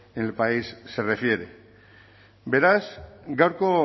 en el país se refiere beraz gaurko